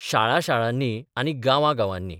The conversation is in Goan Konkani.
शाळा शाळांनी आनी गांवां गांवांनी.